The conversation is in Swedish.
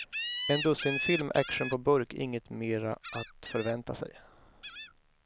En dussinfilm, action på burk, inget mera att förvänta sig.